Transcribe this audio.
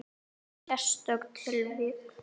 Sérstök tilvik.